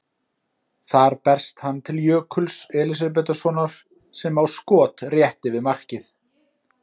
Þar berst hann til Jökuls Elísabetarsonar sem á skot rétt yfir markið.